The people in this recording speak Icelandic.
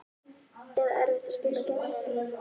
Eða erfitt að spila gegn honum?